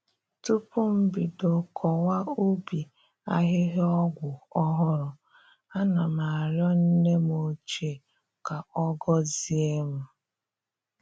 Tupu m bido kọwa ubi ahịhịa ọgwụ ọhụrụ, ana m arịọ nne m ochie ka ọ gọzie m